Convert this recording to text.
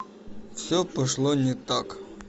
все пошло не так